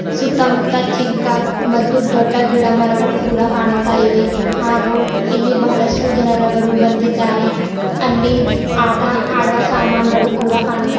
ಸುತ್ತ ಮುತ್ತ ಚಿಕ್ಕ ಮತ್ತು ದೊಡ್ಡ ಗಿಡಮರಗಳು ಕೂಡ ಕಾಣುತ್ತಾ ಇವೆ ಹಾಗು ಇಲ್ಲಿ ಬಹಳಷ್ಟು ಜನರುಗಳು ಬಂದಿದ್ದಾರೆ ಅಲ್ಲಿ ಆಟ ಆಡುವ ಸಾಮಾನುಗಳು ಕೂಡ ಕಾಣುತ್ತ--